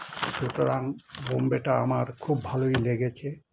সুতরাং বোম্বে টা আমার খুব ভালোই লেগেছে